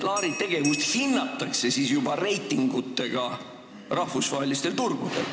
Laari tegevust hinnatakse siis juba reitingutega rahvusvahelistel turgudel.